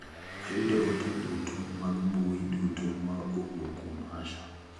Ayudo ote duto mag mmbui duto ma owuok kuom Asha.